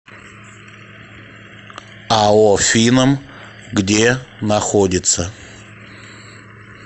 ао финам где находится